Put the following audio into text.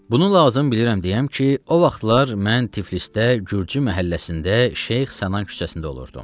Bunu lazım bilirəm deyəm ki, o vaxtlar mən Tiflisdə, gürcü məhəlləsində, Şeyx Sənan küçəsində olurdum.